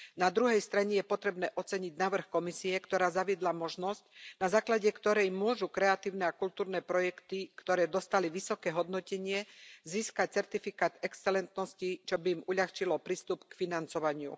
Na druhej strane je potrebné oceniť návrh Komisie, ktorá zaviedla možnosť, na základe ktorej môžu kreatívne a kultúrne projekty, ktoré dostali vysoké hodnotenie, získať certifikát excelentnosti, čo by im uľahčilo prístup k financovaniu.